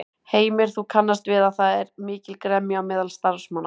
Heimir: Þú kannast við að það er mikil gremja á meðal starfsmanna?